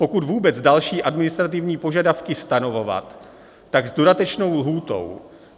Pokud vůbec další administrativní požadavky stanovovat, tak s dodatečnou lhůtou.